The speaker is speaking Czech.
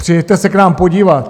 Přijeďte se k nám podívat.